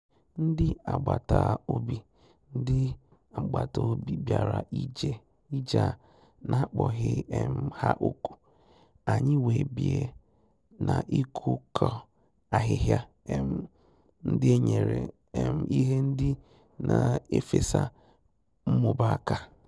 Ndị́ ágbàtà-òbì Ndị́ ágbàtà-òbì bìàrà íjè á nà-àkpọ́ghị́ um hà ókù, ànyị́ wèé bíé nà ị́kụ́ kọ́ àhị́hị́à um ndị́ n’é nyéré um ìhè ndị́ nà-éfèsà nmùbá áká.